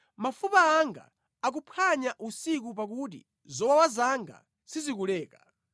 Mafupa anga akuphwanya usiku pakuti zowawa zanga sizikuleka.